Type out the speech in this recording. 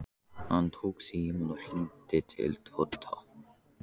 Hann tók símann og hringdi til Tóta.